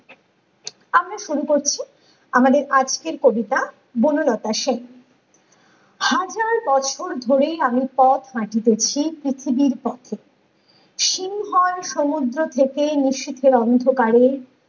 আমরা শুরু করছি আমাদের আজকের কবিতা বনলতা সেন ।হাজার বছর ধরে আমি পথ হাঁটিতেছি পৃথিবীর কক্ষে । সিংহল সমুদ্র থেকে নিশীথে অন্ধকারে